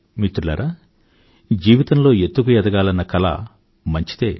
మిత్రులారా జీవితంలో ఎత్తుకు ఎదగాలన్న కల మంచిదే